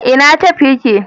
ina tef ya ke?